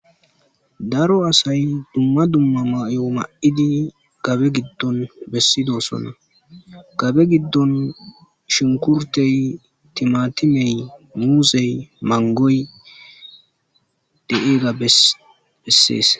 Daro asay dumma dumma mayo ma7idi gabe giddon bessidosona gabe giddon shinkurtey timatimey muusey mangoy de7eega bessees.